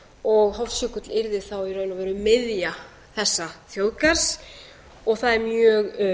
og hofsjökull yrði þá í raun og veru miðja þessa þjóðgarðs það er mjög